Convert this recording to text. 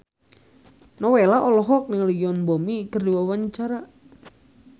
Nowela olohok ningali Yoon Bomi keur diwawancara